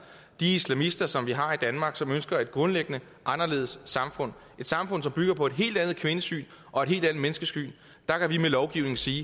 de islamister som vi har i danmark som ønsker et grundlæggende anderledes samfund et samfund som bygger på et helt andet kvindesyn og et helt andet menneskesyn og vi med lovgivningen sige